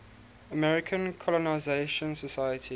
american colonization society